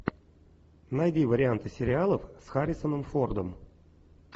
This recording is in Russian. найди варианты сериалов с харрисоном фордом